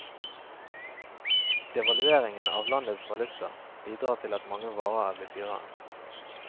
Devalueringen av landets valuta bidrar til at mange varer er blitt dyrere.